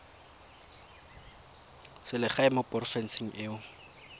selegae mo porofenseng e o